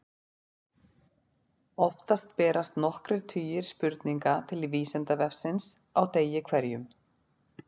Oftast berast nokkrir tugir spurninga til Vísindavefsins á degi hverjum.